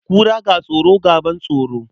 Kura, ga tsoro, ga ban tsoro.